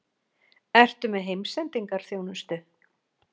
Ertu með heimsendingarþjónustu?